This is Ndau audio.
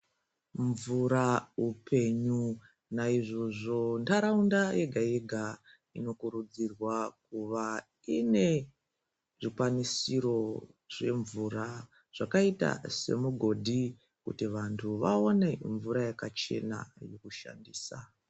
Mvura upenyu naizvozvo ntaraunda yega yega inokurudzirwa kuva ine zvikwanisiro zvemvura zvakaita semugodhi kuti vantu vaone mvura yakachena yokushandisa.